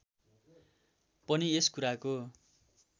पनि यस कुराको